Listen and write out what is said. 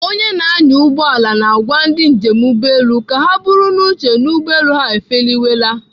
Onye na-anya ụgbọala na-agwa ndị njem ụgbọelu ka ha buru n'obi na ụgbọelu ha efeliwela.